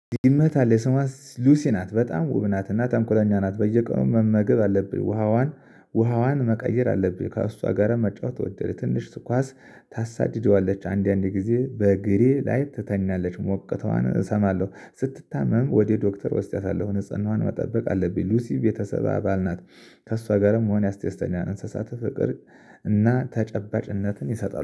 ይመታል የሰማት ሉሲ ናት በጣም ውብ ናት። እና ተንኮለኛ ናት በየቀኑ መመገብ አለብኝ። ውሃዋን ውሃዋን መቀየር አለብኝ ከእሷ ጋር መጫወት ወደድኩ። ትንሽ ትኳስ ታሳድደዋለች አንዳንዴ ጊዜ በግሬ ላይ ትተኛለች። ሞቅቷን እሰማለሁ ስትታመም ወደ ዶክተር እወስዳታለሁ። ንፅህናዋን መጠበቅ አለብኝ። ሉሲ የቤተሰብ አባል ናት። ከእሷ ጋርም መሆን ያስደስተኛል። እንስሳተ ፍቅር እና ተጨባጭነትን ይሰጣል